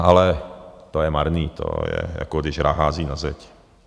Ale to je marné, to je, jako když hrách hází na zeď.